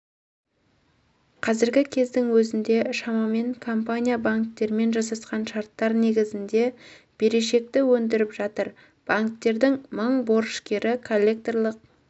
қазіргі кездің өзінде шамамен компания банктермен жасасқан шарттар негізінде берешекті өндіріп жатыр банктердің мың борышкері коллекторлық